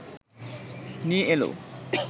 নিয়ে এল